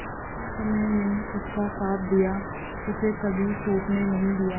कठिन समय में उसका साथ दिया उसे कभी टूटने नहीं दिया